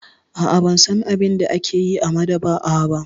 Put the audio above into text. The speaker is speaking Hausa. A'a, ban san abin da ake yi a maɗaba'a ba.